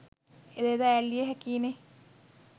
එයද ඈල්ලිය හෑකියි නේ.